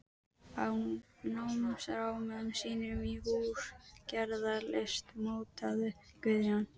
Á námsárum sínum í húsagerðarlist mótaði Guðjón